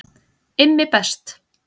IMMI BEST